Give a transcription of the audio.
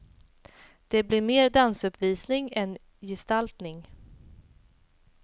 Det blir mer dansuppvisning än gestaltning.